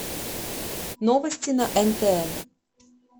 новости на нтн